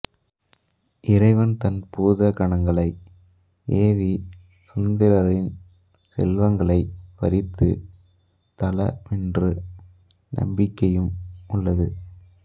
இறைவன் தன் பூத கணங்களை ஏவிச் சுந்தரரின் செல்வங்களைப் பறித்த தலமென்ற நம்பிக்கையும் உள்ளது